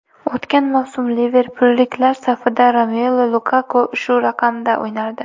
O‘tgan mavsum liverpulliklar safida Romelu Lukaku shu raqamda o‘ynardi.